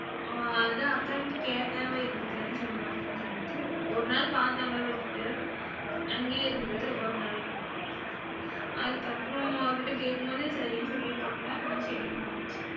அ அதான் அக்காகிட்ட கேட்டேன், அவ இருந்துக்குரேனு சொன்னானு சொல்லுச்சு. ஒரு நாள் பாத்தாங்க விட்டுட்டு அங்கேயே இருந்து ஒரு நாள், அதுக்கப்புறம் அவகிட்ட கேக்கும்போது சரினு சொல்லிருகாப்புல அதான் சரின்னு வந்தாச்சு.